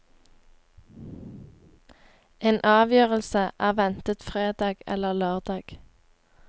En avgjørelse er ventet fredag eller lørdag.